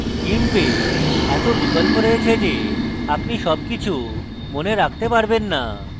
gimp এ এত বিকল্প রয়েছে the আপনি সব মনে রাখতে পারবেন the